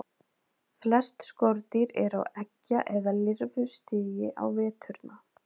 Flest skordýr eru á eggja- eða lirfustigi á veturna.